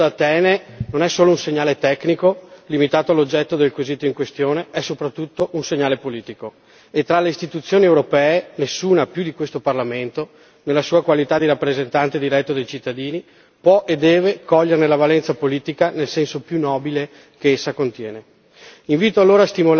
Il segnale che c'è giunto da Atene non è solo un segnale tecnico, limitato all'oggetto del quesito in questione è soprattutto un segnale politico, e tra le Istituzioni europee nessuna più di questo Parlamento, nella sua qualità di rappresentante diretto dei cittadini, può e deve coglierne la valenza politica nel senso più nobile che essa contiene.